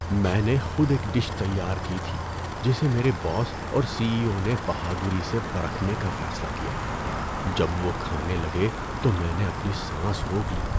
‏میں نے خود ایک ڈش تیار کی تھی جسے میرے باس اور سی ای او نے بہادری سے پرکھنے کا فیصلہ کیا۔ جب وہ کھانے لگے تو میں نے اپنی سانس روک لی۔